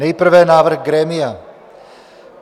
Nejprve návrh grémia.